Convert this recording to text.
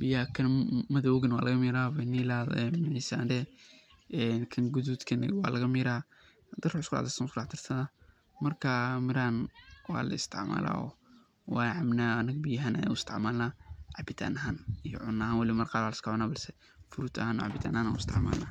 biyaha kan madoowgana waa laga miira kan gaduudka ah ne waa laga miira, marka mirahan waa la isticmaalaa oo waan cabnaa anaga biya ahaan ayaan u isticmaalna iyo cuno ahaan marka qaar lakin fruud ahaan iyo cabitaan ahaan ayaan u isticmaalna.